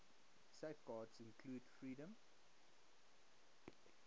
safeguards include freedom